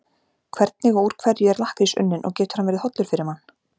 Hvernig og úr hverju er lakkrís unninn og getur hann verið hollur fyrir mann?